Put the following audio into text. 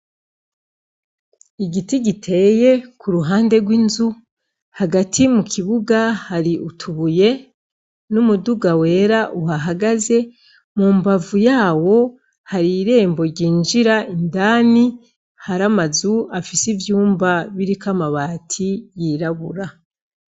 Igiti giteye ku ruhande rw'inzu hagati mu kibuga hari utubuye n'umuduga wera uhahagaze mu mbavu yawo hari irembo ryinjira indani hari amazu afise ivyumba biriko amabati yirabura.